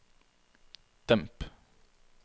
demp